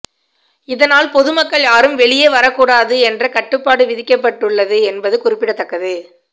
இதனால் பொதுமக்கள் யாரும் வெளியே வரக் கூடாது என்ற கட்டுப்பாடு விதிக்கப்பட்டுள்ளது என்பது குறிப்பிடத்தக்கது